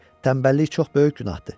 Tənbəllik çox böyük günahdır.